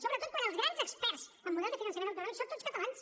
sobretot quan els grans experts en model de finançament autonòmic són tots catalans